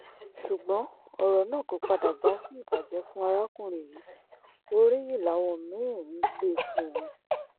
ṣùgbọ́n ọ̀rọ̀ náà kò padà já sí ìbàjẹ́ fún arákùnrin yìí oríyìn làwọn mí-ín ń gbé fún un